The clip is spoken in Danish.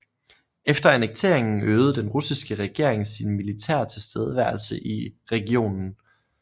Efter annekteringen øgede den russiske regering sin militære tilstedeværelse i regionen